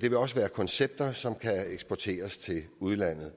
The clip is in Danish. vil også være koncepter som kan eksporteres til udlandet